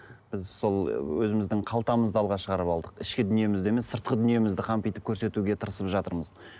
біз сол өзіміздің қалтамызды алға шығарып алдық ішкі дүниемізді емес сыртқы дүниемізді қампитып көрсетуге тырысып жатырмыз